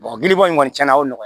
giliba kɔni tiɲɛna o nan